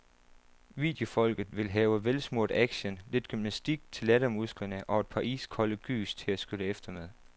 Videofolket vil have velsmurt action, lidt gymnastik til lattermusklerne og et par iskolde gys til at skylle efter med.